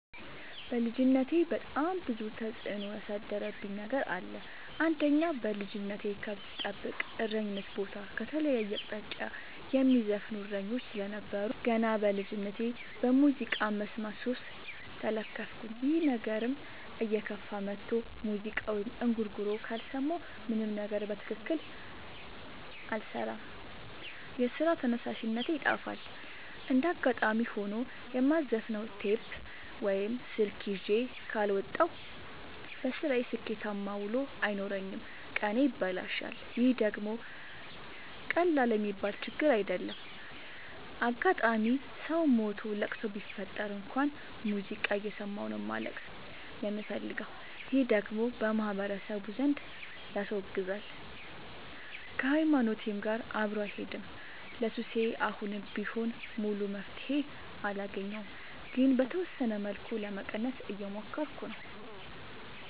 በልጅነቴ በጣም ብዙ ተጽዕኖ ያሳደረብኝ ነገር አለ። አንደኛ በልጅነቴ ከብት ስጠብቅ እረኝነት ቦታ ከተለያየ አቅጣጫ የሚዘፍኑ እሰኞች ስለነበሩ። ገና በልጅነቴ በሙዚቃ መስማት ሱስ ተለከፍኩኝ ይህ ነገርም እየከፋ መጥቶ ሙዚቃ ወይም እንጉርጉሮ ካልሰማሁ ምንም ነገር በትክክል አልሰራም የስራ ተነሳሽነቴ ይጠፋል። እንደጋጣሚ ሆኖ የማዘፍ ነው ቴፕ ወይም ስልክ ይዤ ካልወጣሁ። በስራዬ ስኬታማ ውሎ አይኖረኝም ቀኔ ይበላሻል ይህ ደግሞ ቀላል የሚባል ችግር አይደለም። አጋጣም ሰው ሞቶ ለቅሶ ቢፈጠር እንኳን ሙዚቃ እየሰማሁ ነው ማልቀስ የምፈልገው ይህ ደግሞ በማህበረሰቡ ዘንድ ያስወግዛል። ከሀይማኖቴም ጋር አብሮ አይሄድም። ለሱሴ አሁንም ቢሆን ሙሉ መፍትሔ አላገኘሁም ግን በተወሰነ መልኩ ለመቀነስ እየሞከርኩ ነው።